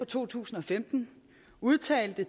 to tusind og femten udtalte